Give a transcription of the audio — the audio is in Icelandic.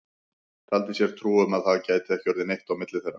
Taldi sér trú um að það gæti ekki orðið neitt á milli þeirra.